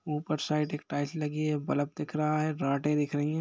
ऊपर साइड एक टाइल्स लगी है बल्ब दिख रहा है राडे दिख रही है।